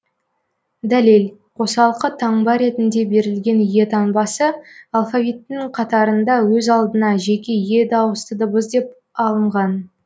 дәлел қосалқы таңба ретінде берілген е таңбасы алфавиттің қатарында өз алдына жеке е дауысты дыбыс деп алынған